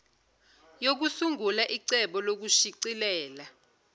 yokusungula icebo lokushicilela